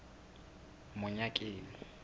monyakeng